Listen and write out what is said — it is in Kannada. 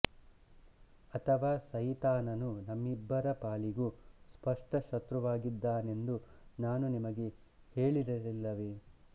ಅಥವಾ ಸೈತಾನನು ನಿಮ್ಮಿಬ್ಬರ ಪಾಲಿಗೂ ಸ್ಪಷ್ಟ ಶತ್ರುವಾಗಿದ್ದಾನೆಂದು ನಾನು ನಿಮಗೆ ಹೇಳಿರಲಿಲ್ಲವೇ